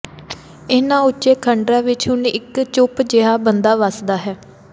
ਇਹਨਾਂ ਉੱਚੇ ਖੰਡਰਾਂ ਵਿਚ ਹੁਣ ਇਕ ਚੁੱਪ ਜਿਹਾ ਬੰਦਾ ਵੱਸਦਾ ਹੈ